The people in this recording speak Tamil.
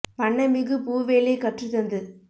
வண்ணமிகு பூவேலை கற்றுத் தந்து